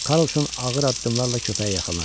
Karlson ağır addımlarla köpəyə yaxınlaşdı.